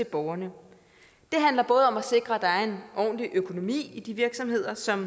borgerne det handler både om at sikre at der er en ordentlig økonomi i de virksomheder som